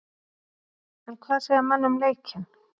En hvað segja menn um leikinn?